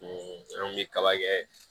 an kun bɛ kaba kɛ